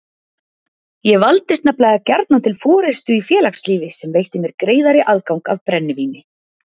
Ég valdist nefnilega gjarnan til forystu í félagslífi sem veitti mér greiðari aðgang að brennivíni.